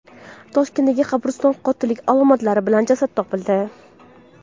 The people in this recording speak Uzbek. Toshkentdagi qabristonda qotillik alomatlari bo‘lgan jasad topildi.